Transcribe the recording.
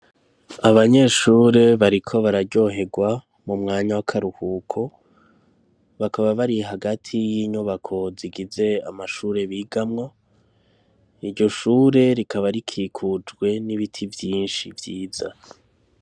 Abanyeshure bariko bararyoherwa mu mwanya w'akaruhuko, bakaba bari hagati y'inyubako zigize amashure bigamwo, iryo shure rikaba rikikujwe n'ibiti vyinshi vyiza.